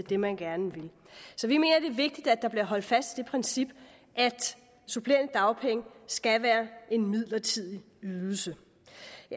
det man gerne vil så vi mener det er vigtigt at der bliver holdt fast i det princip at supplerende dagpenge skal være en midlertidig ydelse